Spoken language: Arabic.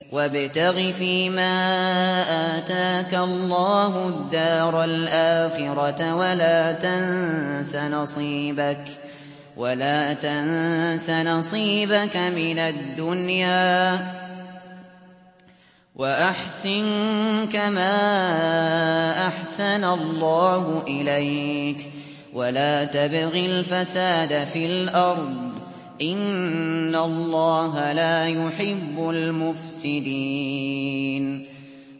وَابْتَغِ فِيمَا آتَاكَ اللَّهُ الدَّارَ الْآخِرَةَ ۖ وَلَا تَنسَ نَصِيبَكَ مِنَ الدُّنْيَا ۖ وَأَحْسِن كَمَا أَحْسَنَ اللَّهُ إِلَيْكَ ۖ وَلَا تَبْغِ الْفَسَادَ فِي الْأَرْضِ ۖ إِنَّ اللَّهَ لَا يُحِبُّ الْمُفْسِدِينَ